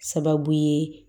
Sababu ye